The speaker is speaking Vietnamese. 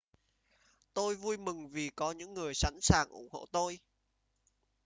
tôi vui mừng vì có những người sẵn sàng ủng hộ tôi